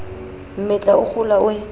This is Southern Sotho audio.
mmetla o kgola o e